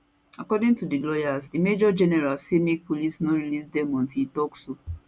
according to di lawyers di major general say make police no release dem until e tok so